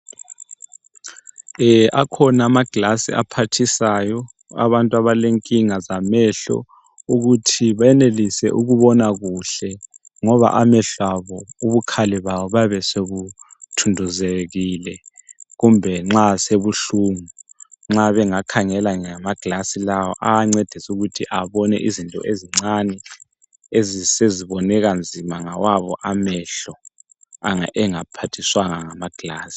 Akhona amagilazi aphathisayo abantu abalenkinga zamehlo ukuthi benelise ukubona kuhle ngoba amehlo abo ubukhali bawo buyabe sobuthunduzekile kumbe nxa sebuhlungu nxa bengakhangela ngamagilazi lawa ayancedisa ukuthi abone izinto ezincane eseziboneka nzima ngawo amehlo ma bengaphathiswanga ngamagilazi.